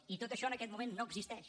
i tot això en aquest moment no existeix